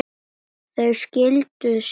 Munu þessar þyrlur duga okkur?